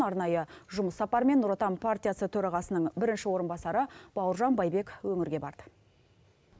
арнайы жұмыс сапарымен нұр отан партиясы төрағасының бірінші орынбасары бауыржан байбек өңірге барды